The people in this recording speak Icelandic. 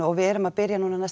við erum að byrja núna næstu